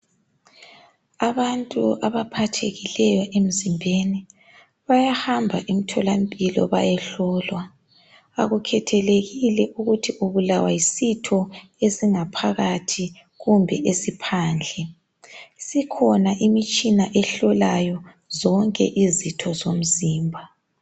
Abantu abaphathekileyo emzimbeni bayahamba emtholampilo bayehlolwa. Akukhethelekile ukuthi ubulawa yisitho esingaphakhathi kumbe esiphandle. Isikhona imitshina ehlolayo zonke izitho zomzimba.